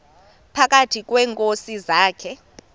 phakathi kweenkosi zakhe